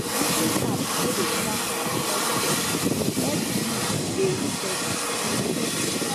using app wey dey track my selfcare e help me dey steady no be small